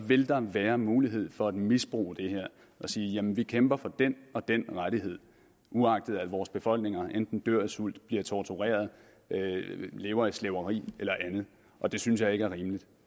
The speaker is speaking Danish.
vil der være mulighed for at misbruge det og sige jamen vi kæmper for den og den rettighed uagtet at vores befolkninger enten dør af sult bliver tortureret lever i slaveri eller andet og det synes jeg ikke er rimeligt